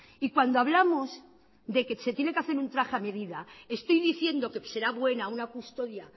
y cuando hablamos de que se tiene que hacer un traje a medida estoy diciendo que será buena una custodia